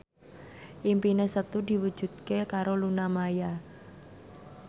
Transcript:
impine Setu diwujudke karo Luna Maya